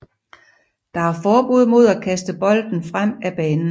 Der er forbud mod at kaste bolden frem ad banen